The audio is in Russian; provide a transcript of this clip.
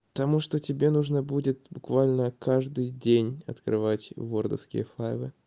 потому что тебе нужно будет буквально каждый день открывать вордовские файлы